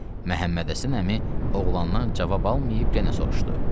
Məhəmməd Həsən əmi oğlandan cavab almayıb genə soruşdu.